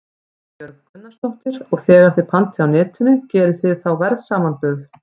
Erla Björg Gunnarsdóttir: Og þegar þið pantið á Netinu, gerið þið þá verðsamanburð?